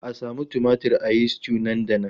A samu tumatir a yi stew nan da nan!